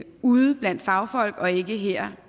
ude blandt fagfolk og ikke her